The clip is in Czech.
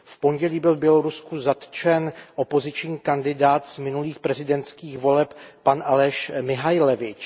V pondělí byl v Bělorusku zatčen opoziční kandidát z minulých prezidentských voleb pan Aleś Mihaljevič.